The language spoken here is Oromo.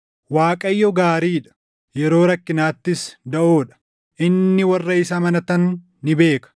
Waaqayyo gaarii dha; yeroo rakkinaattis daʼoo dha. Inni warra isa amanatan ni beeka;